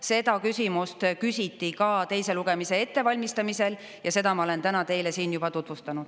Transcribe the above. Seda küsimust küsiti ka teise lugemise ettevalmistamisel ja seda ma olen täna teile siin juba tutvustanud.